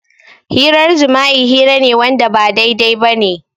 Hirar jima'i hira ne Wanda ba daidai bane.